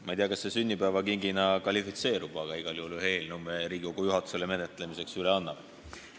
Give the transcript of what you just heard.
Ma ei tea, kas see sünnipäevakingina kvalifitseerub, aga ma annan Riigikogu juhatusele menetlemiseks üle ühe eelnõu.